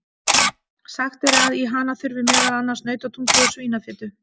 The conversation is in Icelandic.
Sagt er að í hana þurfi meðal annars nautatungu og svínafitu.